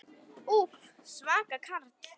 Úff, svaka karl.